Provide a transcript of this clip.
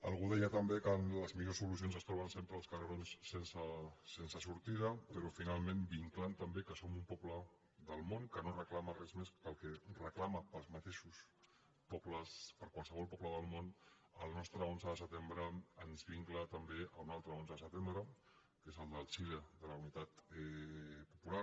algú deia també que les millors solucions es troben sempre als carrerons sense sortida però finalment vinclant també que som un poble del món que no reclama res més que el que reclama per a qualsevol poble del món el nostre onze de setembre ens vincla també a un altre onze de setembre que és el de xile el de la unitat popular